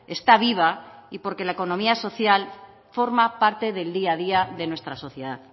está viva y porque la economía social forma parte del día a día de nuestra sociedad